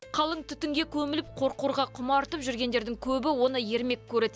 қалың түтінге көміліп қорқорға құмартып жүргендердің көбі оны ермек көреді